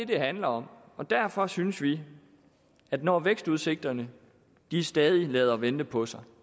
det handler om og derfor synes vi at når vækstudsigterne stadig lader vente på sig